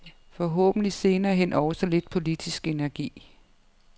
Forhåbentlig senere hen også lidt politisk energi?